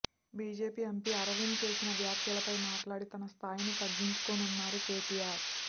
BJP MP Arvind చేసిన వ్యాఖ్యలపై మాట్లాడి తన స్థాయిని తగ్గించుకోనున్నారు కేటీఆర్